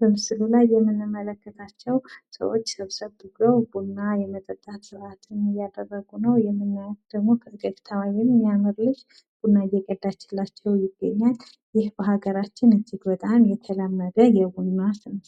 በምስሉ ላይ የምንመለከታቸው ሰዎች ሰብሰብ ብለው ቡና የመጠጣት ስረአትን እያካሀዱ ነው። የምናያት ደሞ ፈገግታዋ የሚያምር ልጅ ቡና እየቀዳችላቸው ይገኛል። ይህ በሃገራችን እጅግ በጣም የተለመደ የቡና